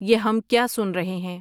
یہ ہم کیا سن رہے ہیں